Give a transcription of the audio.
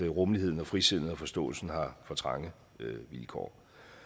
rummeligheden og frisindet og forståelsen har trange vilkår